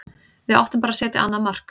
Við áttum bara að setja annað mark.